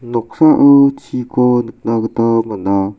noksao chiko nikna gita man·a.